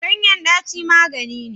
Ganyen daci magani ne.